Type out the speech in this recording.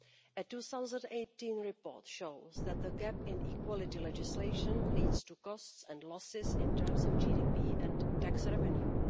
A 2018 report shows that the gap in equality legislation leads to costs and losses in terms of GDP and tax revenue.